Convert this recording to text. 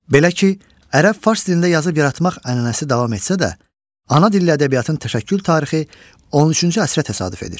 Belə ki, ərəb-fars dilində yazıb yaratmaq ənənəsi davam etsə də, ana dilli ədəbiyyatın təşəkkül tarixi 13-cü əsrə təsadüf edir.